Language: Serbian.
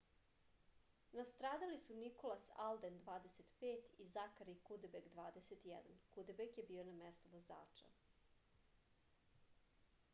nastradali su nikolas alden 25 i zakari kudebek 21. kudebek je bio na mestu vozača